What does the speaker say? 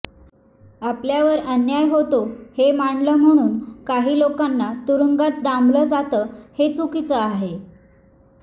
आपल्यावर अन्याय होतो हे मांडलं म्हणून काही लोकांना तुरुंगात डांबलं जातं हे चूकीचं आहे